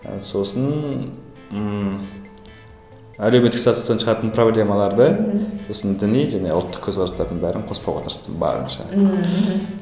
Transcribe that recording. сосын ммм әлеуметтік статустан шығатын проблемаларды сосын діни және ұлттық көзқарастардың бәрін қоспауға тырыстым барынша ммм мхм